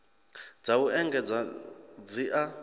dza u engedzedza dzi a